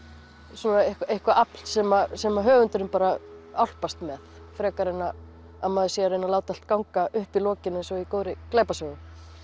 svona eitthvað afl sem sem höfundur álpast með frekar en að maður sé að reyna allt ganga upp í lokin eins og í góðri glæpasögu